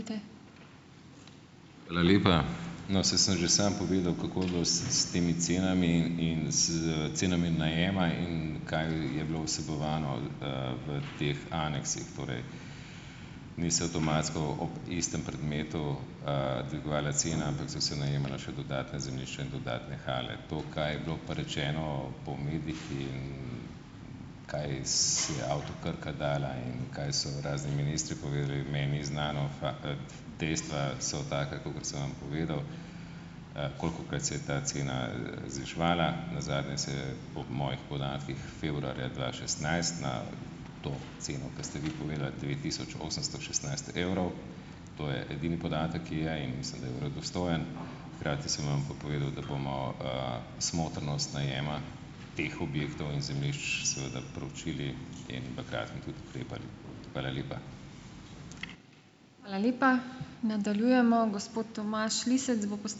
Hvala lepa. No, saj sem že sam povedal, kako je bilo s, s temi cenami in s cenami najema in kaj je bilo vsebovano, v, v teh aneksih, torej niso avtomatsko ob istem predmetu, dvigovale cene, ampak so se najemala še dodatna zemljišča in dodatne hale. To, kaj je bilo pa rečeno po medijih in, kaj si je Avto Krka dala in kaj so razni ministri povedali, meni ni znano. Pa, Dejstva so taka, kakor sem vam povedal, kolikokrat se je ta cena, zviševala, nazadnje se je po mojih podatkih februarja dva šestnajst na to ceno, ki ste vi povedali devet tisoč osemsto šestnajst evrov, to je edini podatek, ki je, in mislim, da je verodostojen. Hkrati sem vam pa povedal, da bomo, smotrnost najema teh objektov in zemljišč seveda proučili in v kratkem tudi ukrepali. Hvala lepa.